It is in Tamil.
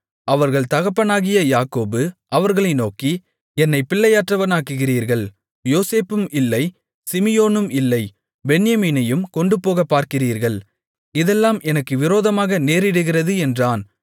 அவர்கள் தகப்பனாகிய யாக்கோபு அவர்களை நோக்கி என்னைப் பிள்ளையற்றவனாக்குகிறீர்கள் யோசேப்பும் இல்லை சிமியோனும் இல்லை பென்யமீனையும் கொண்டுபோகப் பார்க்கிறீர்கள் இதெல்லாம் எனக்கு விரோதமாக நேரிடுகிறது என்றான்